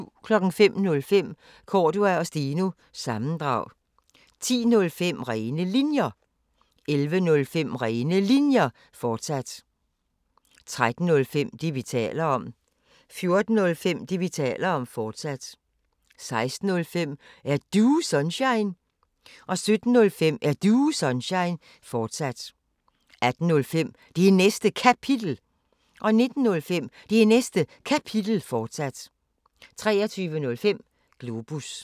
05:05: Cordua & Steno – sammendrag 10:05: Rene Linjer 11:05: Rene Linjer, fortsat 13:05: Det, vi taler om 14:05: Det, vi taler om, fortsat 16:05: Er Du Sunshine? 17:05: Er Du Sunshine? fortsat 18:05: Det Næste Kapitel 19:05: Det Næste Kapitel, fortsat 23:05: Globus